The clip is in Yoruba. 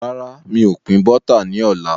Rárá, mi ò pin Bọ́tà ni ọ̀la.